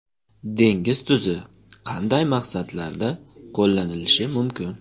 Dengiz tuzi qanday maqsadlarda qo‘llanilishi mumkin?.